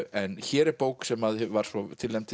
en hér er bók sem var svo tilnefnd til